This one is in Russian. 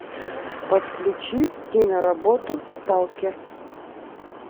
подключи киноработу сталкер